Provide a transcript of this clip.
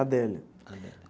Adélia.